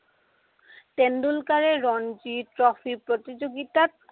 তেণ্ডলুকাৰে Ranji trophy প্ৰতিযোগিতাত